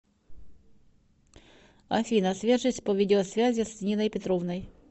афина свяжись по видеосвязи с ниной петровной